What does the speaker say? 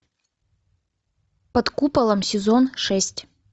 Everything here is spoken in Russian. под куполом сезон шесть